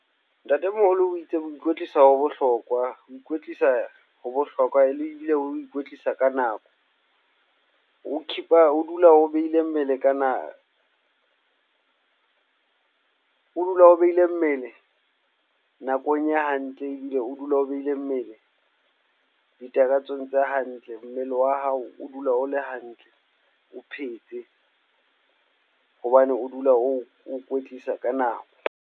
Ntate moholo o itse ho ikwetlisa ho bohlokwa, ho ikwetlisa ho bohlokwa e le ebile ho ikwetlisa ka nako. Ho keep-a o dula o behile mmele nakong e hantle ebile o dula o behile mmele di takatsong tse hantle. Mmele wa hao o dula o le hantle, o phetse hobane o dula o kwetlisa ka nako.